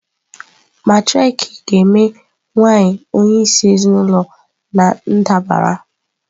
Matriarchy ga-eme nwanyị onyeisi ezinụlọ na ndabara.